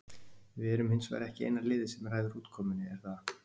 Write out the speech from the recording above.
Við erum hins vegar ekki eina liðið sem ræður útkomunni, er það?